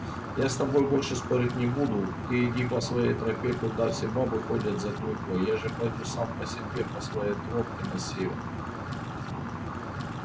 я с тобой больше спорить не буду ты иди по своей тропе куда все бабы ходят за клюквой я же пойду сам по себе по своей тропке на север